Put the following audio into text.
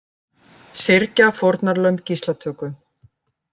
Syrgja fórnarlömb gíslatöku